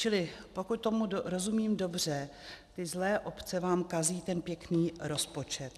Čili pokud tomu rozumím dobře, ty zlé obce vám kazí ten pěkný rozpočet.